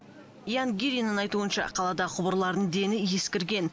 ян гириннің айтуынша қаладағы құбырлардың дені ескірген